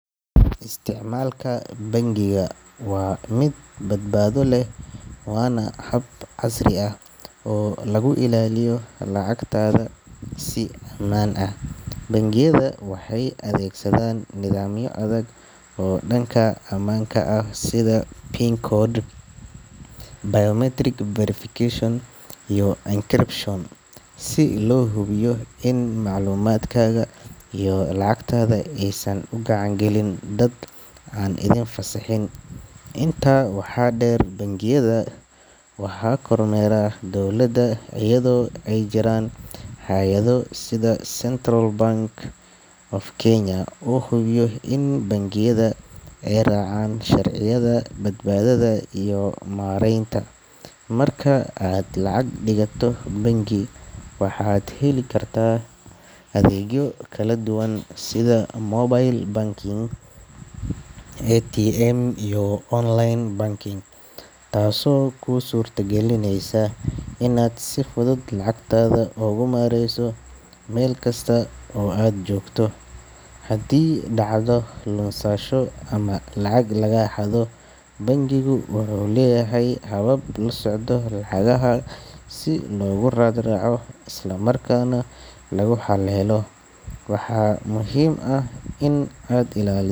Isticmaalka bangiga waa mid badbaado leh waana hab casri ah oo lagu ilaaliyo lacagtaada si ammaan ah. Bangiyada waxay adeegsadaan nidaamyo adag oo dhanka ammaanka ah sida PIN code, biometric verification, iyo encryption si loo hubiyo in macluumaadkaaga iyo lacagtaada aysan u gacan gelin dad aan idin fasaxin. Intaa waxaa dheer, bangiyada waxaa kormeera dowladda iyadoo ay jiraan hay’ado sida Central Bank of Kenya oo hubiya in bangiyada ay raacaan sharciyada badbaadada iyo maareynta. Marka aad lacag dhigato bangi, waxa aad heli kartaa adeegyo kala duwan sida mobile banking, ATM, iyo online banking taasoo kuu suurtagelinaysa inaad si fudud lacagtaada uga maarayso meel kasta oo aad joogto. Haddii dhacdo lunsasho ama lacag lagaa xado, bangigu wuxuu leeyahay habab la socda lacagaha si loogu raad raaco isla markaana lagu helo xal. Waxaa muhiim ah in aad ilaali.